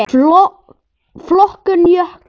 Flokkun jökla